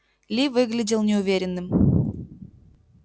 ли выглядел неуверенным